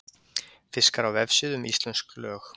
fiskar á vefsíðu um íslömsk lög